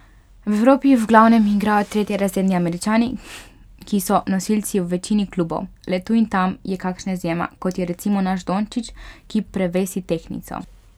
V Evropi v glavnem igrajo tretjerazredni Američani, ki so nosilci v večini klubov, le tu in tam je kakšna izjema, kot je recimo naš Dončić, ki prevesi tehtnico.